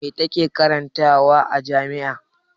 Me ta ke karantawa a jami'a?